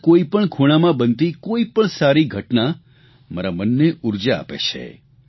દેશના કોઇપણ ખૂણામાં બનતી કોઇપણ સારી ઘટના મારા મનને ઉર્જા આપે છે